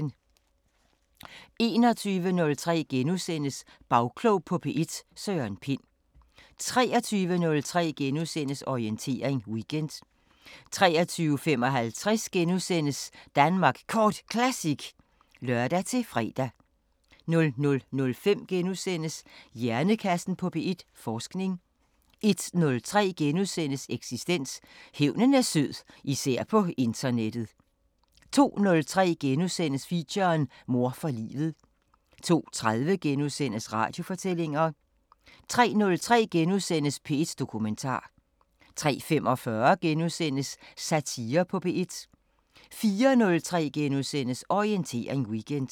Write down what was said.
21:03: Bagklog på P1: Søren Pind * 23:03: Orientering Weekend * 23:55: Danmark Kort Classic *(lør-fre) 00:05: Hjernekassen på P1: Forskning * 01:03: Eksistens: Hævnen er sød – især på internettet * 02:03: Feature: Mor for livet * 02:30: Radiofortællinger * 03:03: P1 Dokumentar * 03:45: Satire på P1 * 04:03: Orientering Weekend *